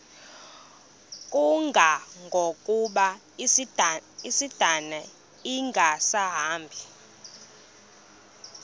kangangokuba isindane ingasahambi